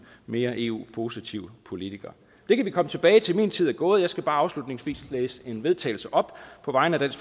mere eu positive politikere det kan vi komme tilbage til min tid er gået og jeg skal bare afslutningsvis læse til vedtagelse op på vegne af